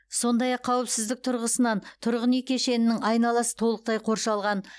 сондай ақ қауіпсіздік тұрғысынан тұрғын үй кешенінің айналасы толықтай қоршалған